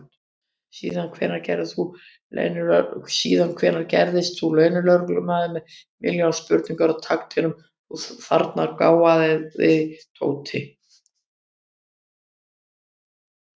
Síðan hvenær gerðist þú leynilögreglumaður með milljón spurningar á takteinum, þú þarna gáfaði Tóti!